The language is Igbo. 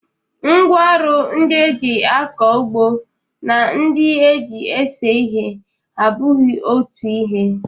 Ngwaọrụ ndị e ji akọ ugbo na ndị e ji ese ihe abụghị otu ihe